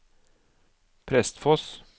Prestfoss